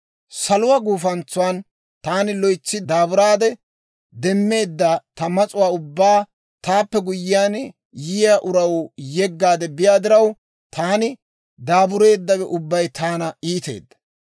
Saluwaa gufantsan taani loytsi daaburaade demmeedda ta mas'uwaa ubbaa taappe guyyiyaan yiyaa uraw yeggaade biyaa diraw, taani daabureeddawe ubbay taana iiteedda.